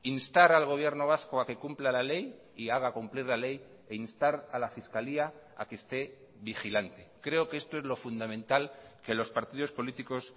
instar al gobierno vasco a que cumpla la ley y haga cumplir la ley e instar a la fiscalia a que esté vigilante creo que esto es lo fundamental que los partidos políticos